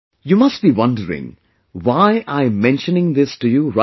You must be wondering why I am mentioning this to you right now